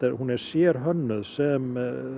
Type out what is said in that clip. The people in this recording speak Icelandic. hún er sérhönnuð sem